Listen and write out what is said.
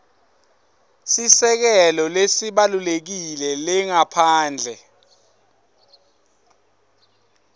sisekelo lesibalulekile lengaphandle